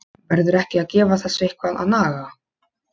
Verður ekki að gefa þessu eitthvað að naga?